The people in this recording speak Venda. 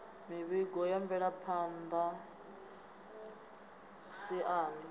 mivhigo ya mvelaphan ḓa siani